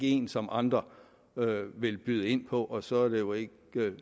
en som andre vil byde ind på og så er det jo